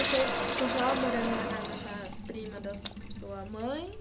Você continuava morando na casa dessa prima da sua mãe?